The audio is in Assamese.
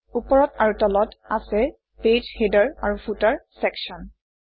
ওপৰত আৰু তলত আছে পেজ হেডাৰ আৰু ফুটাৰ চেকশ্যন